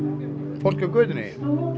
fólkið á götunni tobbi